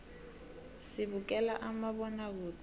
sibukela umabonakude